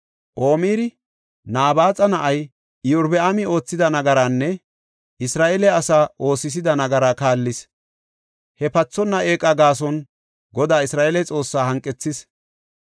Omiri Nabaaxa na7ay Iyorbaami oothida nagaraanne Isra7eele asaa oosisida nagaraa kaallis; he pathonna eeqa gaason Godaa, Isra7eele Xoossaa hanqethis.